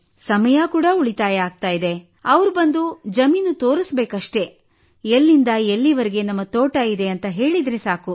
ಸಮಯವೂ ಉಳಿತಾಯವಾಗುತ್ತದೆ ಅವರು ಬಂದು ಜಮೀನು ತೋರಿಸಬೇಕಷ್ಟೆ ಎಲ್ಲಿಂದ ಎಲ್ಲಿವರೆಗೆ ತಮ್ಮ ತೋಟವಿದೆ ಎಂದು ಹೇಳಿದರೆ ಸಾಕು